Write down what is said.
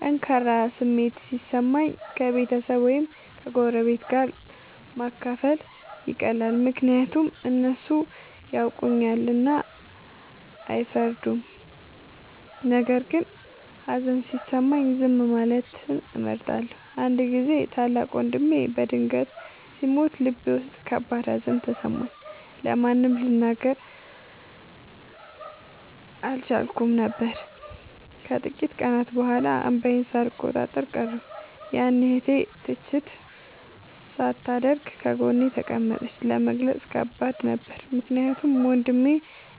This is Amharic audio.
ጠንካራ ስሜት ሲሰማኝ ከቤተሰብ ወይም ከጎረቤት ጋር ማካፈል ይቀላል፤ ምክንያቱም እነሱ ያውቁኛልና አይፈርዱም። ነገር ግን ሀዘን ሲሰማኝ ዝም ማለትን እመርጣለሁ። አንድ ጊዜ ታላቅ ወንድሜ በድንገት ሲሞት ልቤ ውስጥ ከባድ ሀዘን ተሰማኝ፤ ለማንም ልናገር አልቻልኩም ነበር። ከጥቂት ቀናት በኋላ እንባዬን ሳልቆጣጠር ቀረሁ፤ ያኔ እህቴ ትችት ሳታደርግ ጎኔ ተቀመጠች። ለመግለጽ ከባድ ነበር ምክንያቱም ወንድሜ